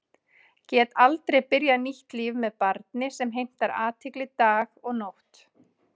Get aldrei byrjað nýtt líf með barni sem heimtar athygli dag og nótt.